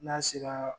N'a sera